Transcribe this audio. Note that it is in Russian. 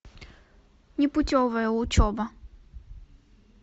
непутевая учеба